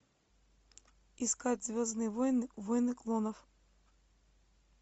искать звездные войны войны клонов